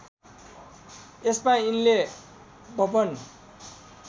यसमा यिनले बब्बन